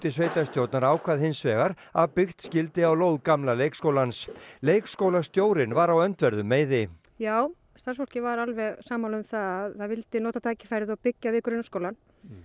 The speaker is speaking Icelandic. sveitarstjórnar ákvað hins vegar að byggt skyldi á lóð gamla leikskólans leikskólastjórinn var á öndverðum meiði já starfsfólkið var alveg sammála um það vildi nota tækifærið og byggja við grunnskólann